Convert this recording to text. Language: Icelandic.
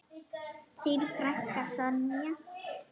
Þín frænka, Sonja.